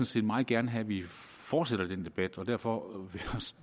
set meget gerne have at vi fortsætter debatten og derfor